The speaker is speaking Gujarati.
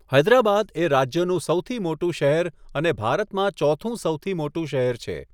હૈદરાબાદ એ રાજ્યનું સૌથી મોટું શહેર અને ભારતમાં ચોથું સૌથી મોટું શહેર છે.